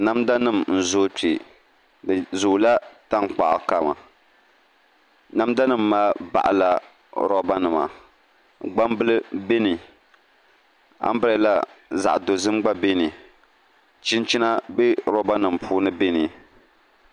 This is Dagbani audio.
Namda nim n zooi kpɛ di zoola tankpaɣu kama namda nim maa baɣala roba nima gbambili bɛ ni anbirɛla zaɣ dozim gba bɛ ni chinchina bɛ roba nim puuni bɛ ni